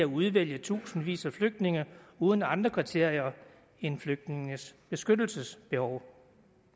udvælge tusindvis af flygtninge uden andre kriterier end flygtningenes beskyttelsesbehov